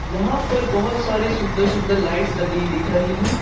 यहां पर बहोत सारी सुंदर सुंदर लाइट्स लगी दिख रही हैं।